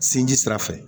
Sinji sira fɛ